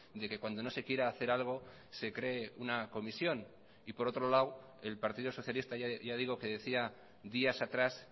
de que cuando no se quiera hacer algo se cree una comisión y por otro lado el partido socialista ya digo que decía días atrás